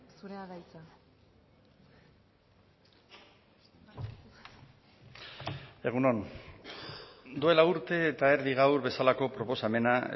zurea da hitza egun on duela urte eta erdi gaur bezalako proposamena